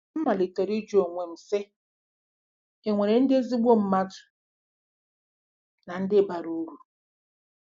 M malitere ịjụ onwe m, sị, ‘È nwere ndị ezigbo mmadụ na ndị bara uru? '